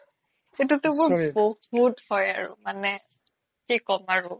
সেইটোটো মোৰ বহুত হয় আৰু কি কম আৰু